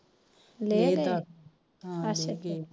ਲੇਹ ਲਦਾਖ ਅੱਛਾ ਲੇਹ